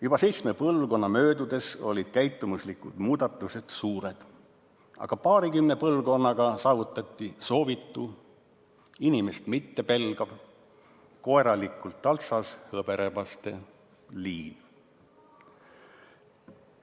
Juba seitsme põlvkonna möödudes olid käitumuslikud muudatused suured, aga paarikümne põlvkonnaga saavutati soovitu: inimest mittepelgav, koeralikult taltsas hõberebaste liin.